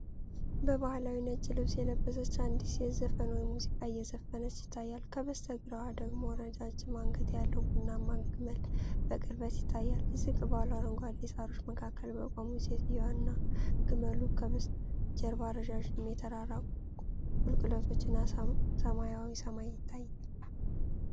በባህላዊ ነጭ ልብስ የለበሰች አንዲት ሴት ዘፈን ወይም ሙዚቃ እየዘፈነች ይታያል። ከበስተግራዋ ደግሞ ረጃጅም አንገት ያለው ቡናማ ግመል በቅርበት ይታያል። ዝቅ ባሉ አረንጓዴ ሣሮች መካከል በቆሙት ሴትዮዋ እና ግመሉ በስተጀርባ ረጃጅም የተራራ ቁልቁለቶች እና ሰማያዊ ሰማይ ይታያሉ።